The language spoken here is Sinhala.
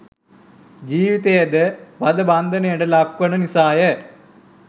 ජීවිතයද වධ බන්ධනයට ලක්වන නිසාය.